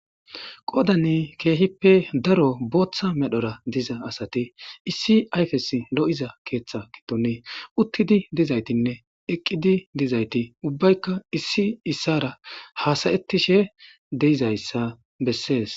Goodani keehippe daro booththa medhora diza asati issi ayfes lo7iza keeththa giddoni uttidi dizaytinne eqqidi dizayti ubbaykka issi issara haasayettishe deizayssa bessees.